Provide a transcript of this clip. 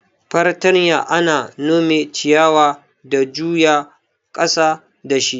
Fartanya ana nome ciyawa da juya ƙasa dashi.